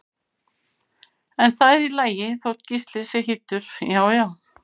En það er í lagi þótt Gísli sé hýddur, já já!